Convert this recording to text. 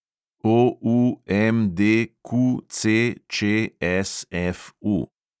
OUMDQCČSFU